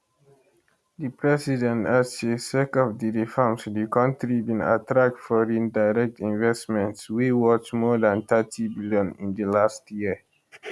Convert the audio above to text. di president add say sake of di reforms di kontri bin attract foreign direct investments wey worth more dan thirty billion in di last year